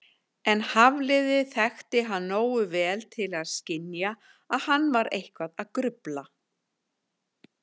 En Hafliði þekkti hann nógu vel til að skynja að hann var eitthvað að grufla.